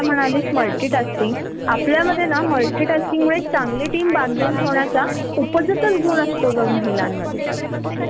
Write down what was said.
आपल्याला जर unfortunately chance मिळाला तर आपल्याला इतका ! आपल्यासाठी त्याचा जॉब आणि सगळ सोडून येणार आह का हा पहिला प्रश्न असतो.